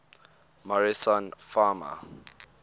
morrison fauna